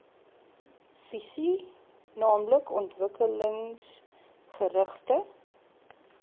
visie naamlik ontwikkelingsgerigte